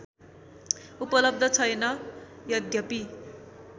उपलब्ध छैन यद्यपि